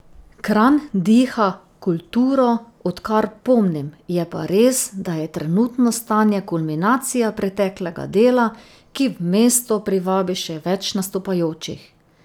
Kranj diha kulturo, odkar pomnim, je pa res, da je trenutno stanje kulminacija preteklega dela, ki v mesto privabi še več nastopajočih.